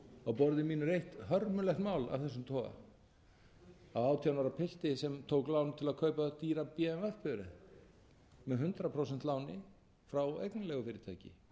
bifreiðar á borði mínu er eitt hörmulegt mál af þessum toga af átján ára piltur sem tók lán til að kaupa dýra bmw bifreið með hundrað prósent láni frá eignarleigufyrirtæki